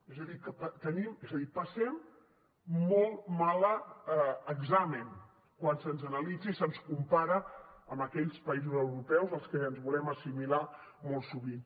és a dir passem molt mal examen quan se’ns analitza i se’ns compara amb aquells països europeus als que ens volem assimilar molt sovint